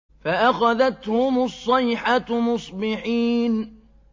فَأَخَذَتْهُمُ الصَّيْحَةُ مُصْبِحِينَ